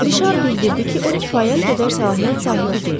Rişar bildirdi ki, o kifayət qədər səlahiyyət sahibi deyil.